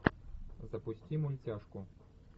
запусти мультяшку